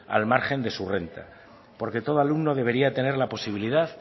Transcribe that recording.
al margen de su renta porque todo alumno debería tener la posibilidad